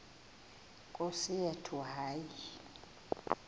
nkosi yethu hayi